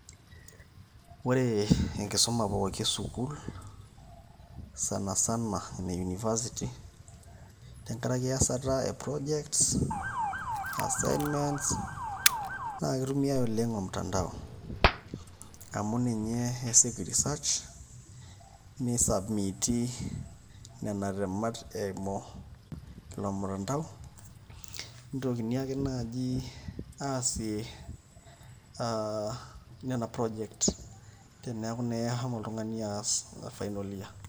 Ore enkisuma pooki esukuul sanasana ene university tenakaraki easata e project, assignments naa kitumiaai oleng' ormutandao amu ninye eesieki research nisubmiiti nena temat eimu ilo mutandao nitokini ake naai aasie aa nena projects teneeku naa ishomo oltung'ani aas ina final year.